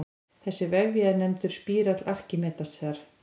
Þessi vefja er nefndur spírall Arkímedesar.